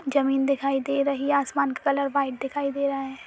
जमीन दिखाई दे रही हैं आसमां का कलर व्हाइट दिखाई दे रहा है।